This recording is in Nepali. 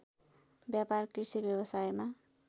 व्यापार कृषि व्यवसायमा